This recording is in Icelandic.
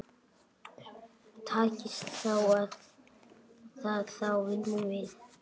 Takist það þá vinnum við.